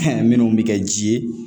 Fɛn minnu bɛ kɛ ji ye